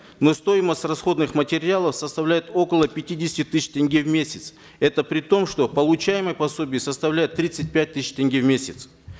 но стоимость расходных материалов составляет около пятидесяти тысяч тенге в месяц это при том что получаемое пособие составляет тридцать пять тысяч тенге в месяц